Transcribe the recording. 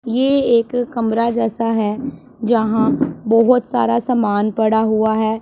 ये एक कमरा जैसा है जहां बहोत सारा समान पड़ा हुआ है।